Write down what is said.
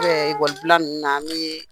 I b'a ye, ekɔli bila ninnu na ni ye